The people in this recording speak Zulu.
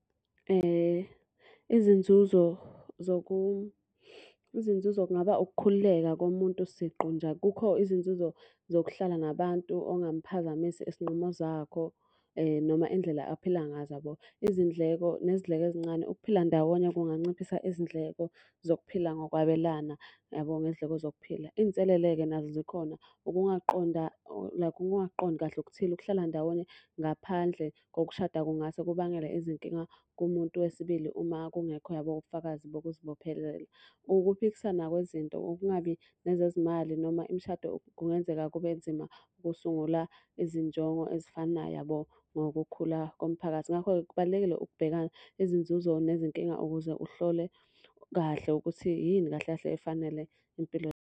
Izinzuzo , izinzuzo kungaba ukukhululeka komuntu siqu nje. Kukho izinzuzo zokuhlala nabantu ongamphazamisa izinqumo zakho noma indlela aphila ngazo yabo. Izindleko nezidleke ezincane, ukuphila ndawonye kunganciphisa izindleko zokuphila ngokwabelana yabo ngezindleko zokuphila. Iy'nselele-ke nazo zikhona, ukungaqonda like ukungaqondi kahle okuthile. Ukuhlala ndawonye ngaphandle ngokushada kungase kubangele izinkinga kumuntu wesibili uma kungekho yabo ubufakazi bokuzibophelela. Ukuphikissana kwezinto, ukungabi nezezimali noma imishado kungenzeka kube nzima ukusungula izinjongo ezifanayo yabo, ngokukhula komphakathi. Ngakho-ke kubalulekile ukubheka izinzuzo nezinkinga ukuze uhlole kahle ukuthi, yini kahle kahle efanele impilo.